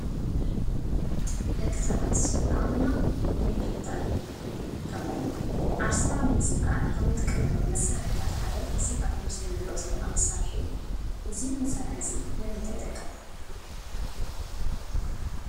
ደቂ ሰባት ዓቕምና ንምፍታንን ከምኡውን ዓርስና ንምዝንጋዕን ካብ እንጥቀመሎም መሳርሕታት ሓደ እዚ ኣብ እቲ ምስሊ ንሪኦ ዘለና መሳርሒ እዩ፡፡ እዚ መሳርሒ እዚ ንምንታይ ይጠቅም?